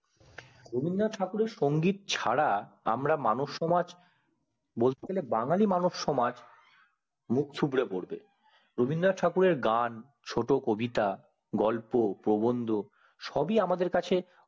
রবীন্দ্রনাথ ঠাকুর এর সংগীত ছাড়া আমাদের মানব সমাজ বলতে গেলে বাঙালির মানব সমাজ মুখচুবরে পড়বে রবীন্দ্রনাথ ঠাকুর এর গান ছোট্ট কবিতা গল্প প্রবন্ধ সব ই আমাদের কাছে